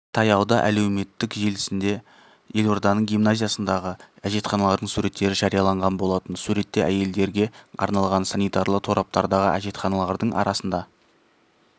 таяуда әлеуметтік желісінде елорданың гимназиясындағы әжетханалардың суреттері жарияланған болатын суретте әйелдерге арналған санитарлы тораптардағы әжетханалардың арасында